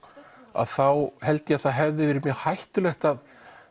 að þá held ég að það hefði verið mjög hættulegt að